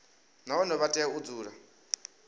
nahone vha tea u dzula